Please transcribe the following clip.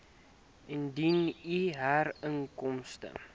indien u huurinkomste